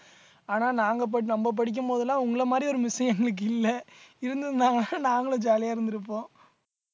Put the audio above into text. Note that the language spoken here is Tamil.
ஆனா நாங்க படி~ நம்ம படிக்கும் போதெல்லாம் உங்களை மாதிரி ஒரு miss எங்களுக்கு இல்லை இருந்திருந்தாங்கன்னா நாங்களும் jolly ஆ இருந்திருப்போம்